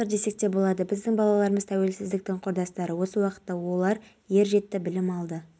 ғасыр десек те болады біздің балаларымыз тәуелсіздіктің құрдастары осы уақытта олар ер жетті білім алды